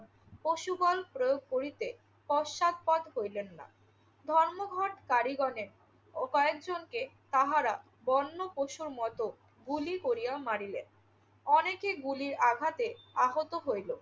পশুবল প্রয়োগ করিতে পশ্চাৎপদ হইলেন না। ধর্মঘটকারীগণেরও কয়েকজনকে তাহারা বন্যপশুর মতো গুলি করিয়া মারিলেন। অনেকে গুলির আঘাতে আহত হইল।